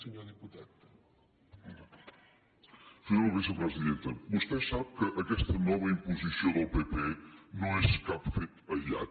senyora vicepresidenta vostè sap que aquesta nova imposició del pp no és cap fet aïllat